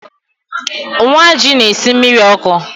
Nwaji na-esi mmiri ọkụ